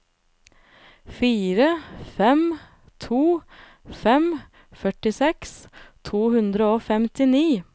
fire fem to fem førtiseks to hundre og femtini